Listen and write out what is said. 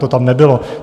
To tam nebylo.